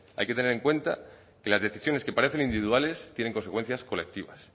hay que tener en cuenta que las decisiones que parecen individuales tienen consecuencias colectivas